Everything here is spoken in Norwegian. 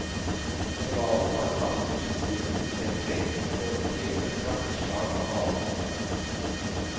Når hvalen har samlet byttedyrene tilstrekkelig, slår den til med et kraftig slag av halen.